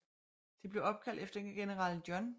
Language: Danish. Det blev opkaldt efter general John J